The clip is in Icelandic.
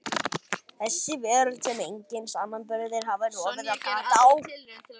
Þessi veröld sem enginn samanburður hafði rofið gat á.